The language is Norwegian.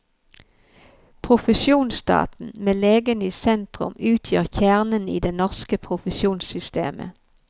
Profesjonsstaten, med legene i sentrum, utgjør kjernen i det norske profesjonssystemet.